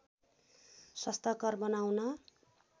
स्वस्थकर बनाउन